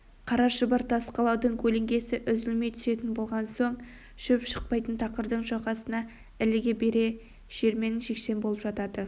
қара шұбар тас қалаудың көлеңкесі үзілмей түсетін болған соң шөп шықпайтын тақырдың жағасына іліге бере жермен-жексен болып жата